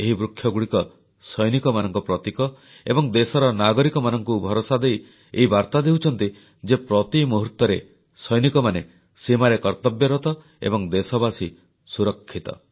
ଏହି ବୃକ୍ଷଗୁଡ଼ିକ ସୈନିକମାନଙ୍କ ପ୍ରତୀକ ଏବଂ ଦେଶର ନାଗରିକମାନଙ୍କୁ ଭରସା ଦେଇ ଏହି ବାର୍ତ୍ତା ଦେଉଛନ୍ତି ଯେ ପ୍ରତି ମୁହୂର୍ତ୍ତରେ ସୈନିକମାନେ ସୀମାରେ କର୍ତ୍ତବ୍ୟରତ ଏବଂ ଦେଶବାସୀ ସୁରକ୍ଷିତ